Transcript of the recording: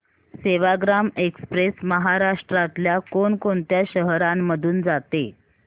Sevagram express महाराष्ट्रातल्या कोण कोणत्या शहरांमधून जाते